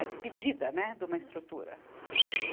A despedida, né, de uma estrutura.